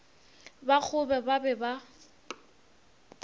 ba kgobe ba be ba